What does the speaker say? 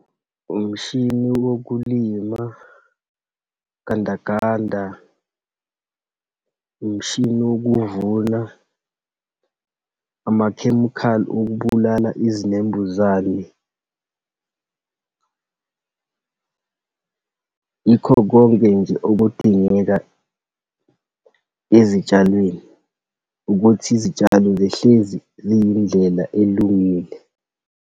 Umshini wokulima, gandaganda, umshini wokuvuna, amakhemikhali okubulala izinembuzane. Yikho konke nje okudingeka ezitshalweni, ukuthi izitshalo zihlezi ziyindlela elungile.